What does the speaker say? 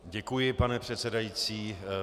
Děkuji, pane předsedající.